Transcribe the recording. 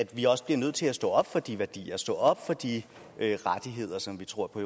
vi også nødt til at stå op for de værdier og stå op for de rettigheder som vi tror på